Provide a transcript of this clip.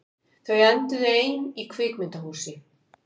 Þau enduðu ein í kvikmyndahúsi